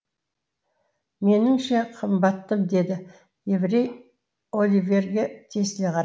меніңше қымбаттым деді еврей оливерге тесіле қарап